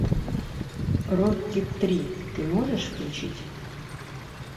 рокки три ты можешь включить